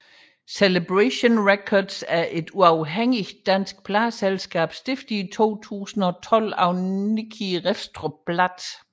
Celebration Records er et uafhængigt dansk pladeselskab stiftet i 2012 af Nicki Refstrup Bladt